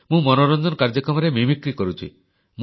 ମୁଁ ମନୋରଞ୍ଜନ କାର୍ଯ୍ୟକ୍ରମରେ ମିମିକ୍ରି ବା ନକଲ କରୁଛି